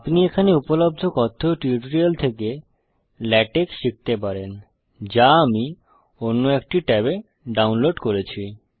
আপনি এখানে উপলব্ধ কথ্য টিউটোরিয়াল থেকে লেটেক্স শিখতে পারেন যা আমি অন্য একটি ট্যাবে ডাউনলোড করেছি